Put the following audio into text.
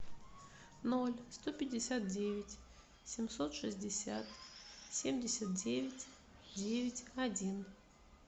ноль сто пятьдесят девять семьсот шестьдесят семьдесят девять девять один